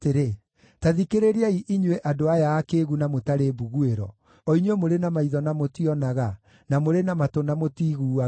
Ta thikĩrĩriai inyuĩ andũ aya akĩĩgu na mũtarĩ mbuguĩro, o inyuĩ mũrĩ na maitho na mũtionaga, na mũrĩ na matũ na mũtiiguaga: